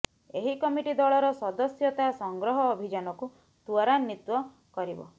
ଏହି କମିଟି ଦଳର ସଦସ୍ୟତା ସଂଗ୍ରହ ଅଭିଯାନକୁ ତ୍ୱରାନ୍ୱିତ କରିବ